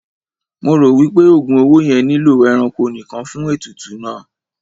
Mo ro wipe ogun owó yẹn nilo ẹranko nìkàn fún ètùtù náà.